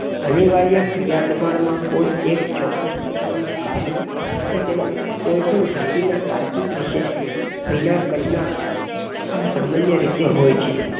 અનિવાર્યક્રિયા દબાણમાં કોઈ એક ચોક્કસ પ્રકારનું કાર્ય એતેના કોઈકની જાતીનાં તાર્કિક કારણ વિષે વિના કર ના આ સામાન્ય રીતે હોય છે.